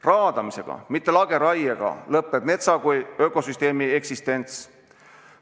Raadamisega, mitte lageraiega lõpeb metsa kui ökosüsteemi eksistents.